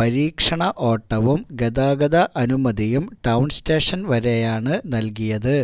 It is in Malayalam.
പരീക്ഷണ ഓട്ടവും ഗതാഗത അനുമതിയും ടൌണ്സ്റ്റേഷന് വരെയാണ് നല്കിയത്